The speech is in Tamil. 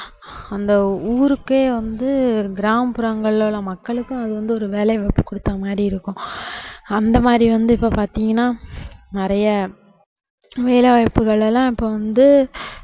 அந்த ஊருக்கே வந்து கிராமப்புறங்கள்ல உள்ள மக்களுக்கும் அதுவந்து ஒரு வேலைவாய்ப்பு கொடுத்த மாதிரி இருக்கும் அந்த மாதிரி வந்து இப்போ பாத்தீங்கன்னா நிறைய வேலைவாய்ப்புகள் எல்லாம் இப்போ வந்து